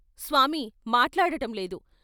స్వామి మాట్లాడటంలేదు.